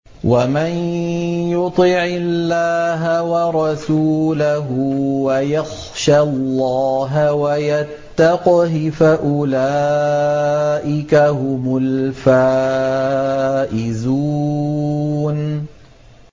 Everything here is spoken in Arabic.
وَمَن يُطِعِ اللَّهَ وَرَسُولَهُ وَيَخْشَ اللَّهَ وَيَتَّقْهِ فَأُولَٰئِكَ هُمُ الْفَائِزُونَ